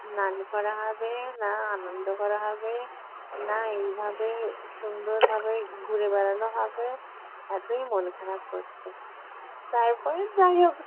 স্নান করা হবে না আনন্দ করা হবে না এইভাবে সুন্দরভাবে ঘুরে বেড়ানো হবে এতই মন খারাপ হতো। তারপরে যাই হোক